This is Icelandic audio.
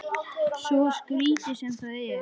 Svo skrítið sem það er.